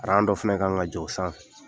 dɔ fɛnɛ ka kan ka jɔ o sanfɛ